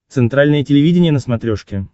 центральное телевидение на смотрешке